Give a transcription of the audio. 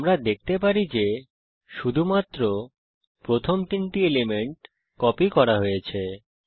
আমরা দেখতে পারি যে শুধুমাত্র প্রথম তিনটি এলিমেন্ট কপি করা হয়েছে